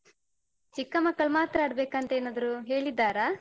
ಚಿಕ್ಕ ಮಕ್ಕಳ್ ಮಾತ್ರ ಆಡ್ಬೇಕಂತ ಏನಾದ್ರು ಹೇಳಿದ್ದಾರಾ?